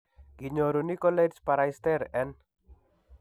Kinyoru Nicolaides Baraitser en